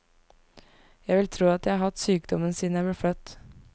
Jeg vil tro at jeg har hatt sykdommen siden jeg ble født.